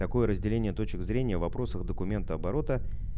такое разделение точек зрения в вопросах документооборота